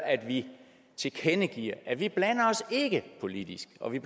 at vi tilkendegiver at vi ikke blander os politisk og at vi